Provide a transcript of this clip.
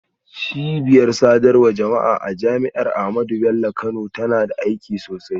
Cibiyar sadarwar jama'a a Jami'ar Bayero Kano tana da aiki sosai.